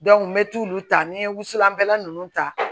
n bɛ taa olu ta ni n ye wusulan kɛla nunnu ta